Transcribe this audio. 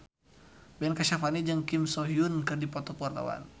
Ben Kasyafani jeung Kim So Hyun keur dipoto ku wartawan